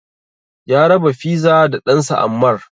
Ya raba fiza da ɗansa Ammar.